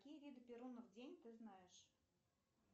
какие виды перунов день ты знаешь